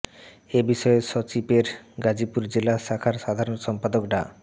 এ বিষয়ে স্বাচিপের গাজীপুর জেলা শাখার সাধারণ সম্পাদক ডা